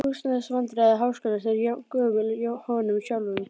Húsnæðisvandræði háskólans eru jafngömul honum sjálfum.